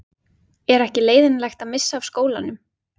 Er ekki leiðinlegt að missa af skólanum?